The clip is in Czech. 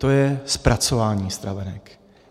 To je zpracování stravenek.